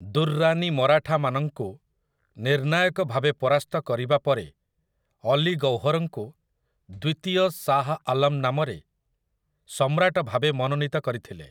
ଦୁର୍‌ରାନୀ ମରାଠାମାନଙ୍କୁ ନିର୍ଣ୍ଣାୟକ ଭାବେ ପରାସ୍ତ କରିବା ପରେ, ଅଲୀ ଗୌହରଙ୍କୁ ଦ୍ୱିତୀୟ ଶାହ୍ ଆଲମ୍ ନାମରେ ସମ୍ରାଟ ଭାବେ ମନୋନୀତ କରିଥିଲେ ।